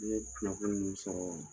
N ye kunnafoni min sɔrɔ